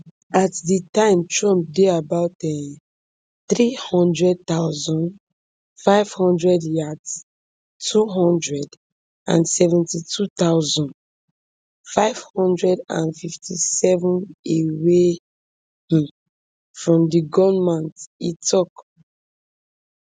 at di time trump dey about um three hundred thousand, five hundred yards two hundred and seventy-two thousand, five hundred and fifty-sevenm away um from di gunman e tok